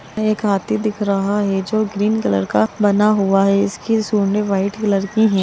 एक हाथी दिख रहा है जो ग्रीन कलर का बना हुआ है इसकी सूड़े व्हाइट कलर की है।